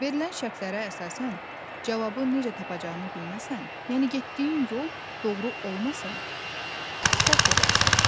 Verilən şərtlərə əsasən cavabı necə tapacağını bilməsən, yəni getdiyin yol doğru olmasa, səhv edərsən.